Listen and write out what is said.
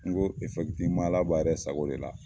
N ko efɛkitiweman ala b'a sagoya de la